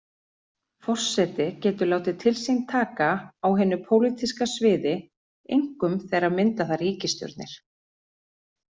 Forseti getur látið til sín taka á hinu pólitíska sviði, einkum þegar mynda þarf ríkisstjórnir.